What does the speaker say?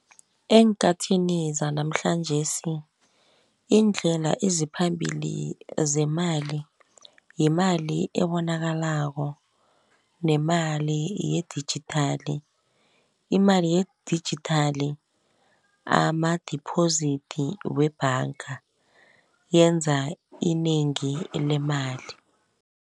Eenkhathini zanamhlanjesi, iindlela eziphambili zemali, yimali ebonakalako nemali yedijithali. Imali yedijithali ama-deposit webhanga, yenza inengi lemali.